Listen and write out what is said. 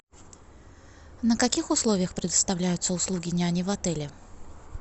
на каких условиях предоставляются услуги няни в отеле